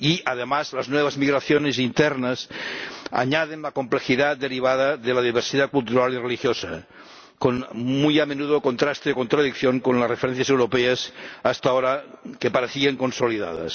Y, además, las nuevas migraciones internas añaden la complejidad derivada de la diversidad cultural y religiosa, muy a menudo en contraste y contradicción con las referencias europeas hasta ahora, que parecían consolidadas.